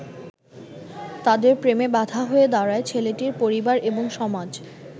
তাদের প্রেমে বাধা হয়ে দাঁড়ায় ছেলেটির পরিবার এবং সমাজ।